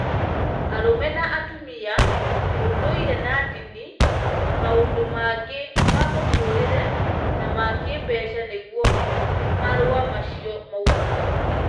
arũme na atumia, ũndũire na ndini, na maũndũ mangĩ ma mũtũrĩrĩ na ma kĩĩmbeca nĩguo marũa macio maugaga.